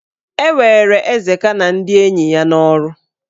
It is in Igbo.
E were Ezeka na ndị enyi ya n'ọrụ.